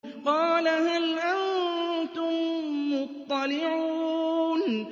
قَالَ هَلْ أَنتُم مُّطَّلِعُونَ